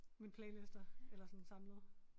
Mine playlister eller sådan samlede